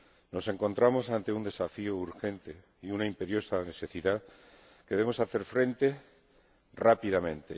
Nos encontramos ante un desafío urgente y una imperiosa necesidad a los que debemos hacer frente rápidamente.